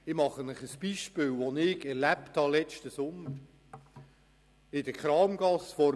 Ich mache ein Beispiel, das ich im letzten Sommer erlebt habe: